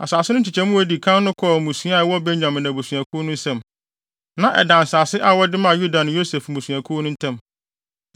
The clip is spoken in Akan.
Asase no nkyekyɛ mu a edi kan no kɔɔ mmusua a ɛwɔ Benyamin abusuakuw no nsam. Na ɛda nsase a wɔde maa Yuda ne Yosef mmusuakuw no ntam.